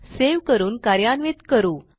save करून कार्यान्वित करू